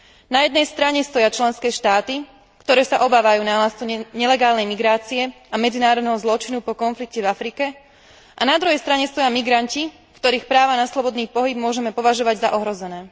Na jednej strane stoja členské štáty, ktoré sa obávajú nárastu nelegálnej migrácie a medzinárodného zločinu po konflikte v Afrike, a na druhej strane stoja migranti, ktorých práva na slobodný pohyb môžeme považovať za ohrozené.